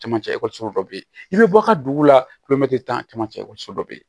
Camancɛ ekɔliso dɔ bɛ yen i bɛ bɔ a ka dugu la kulomɛtiri tan caman cɛ bɛ yen